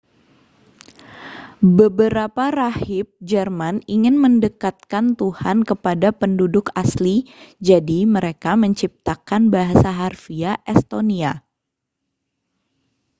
beberapa rahib jerman ingin mendekatkan tuhan kepada penduduk asli jadi mereka menciptakan bahasa harfiah estonia